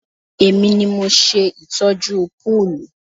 Èmi ni mo ṣe ìtọ́jú púùlù